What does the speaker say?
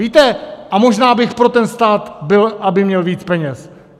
Víte, a možná bych pro ten stát byl, aby měl víc peněz.